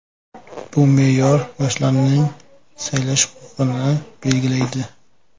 Bu me’yor yoshlarning saylash huquqini belgilaydi.